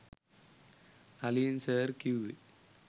Nalin sir කිවුවෙ